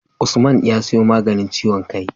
Usman ya siyo maganin ciwon kai